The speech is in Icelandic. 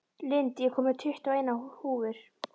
Lind, ég kom með tuttugu og eina húfur!